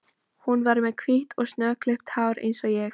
Hún var með hvítt og snöggklippt hár eins og ég.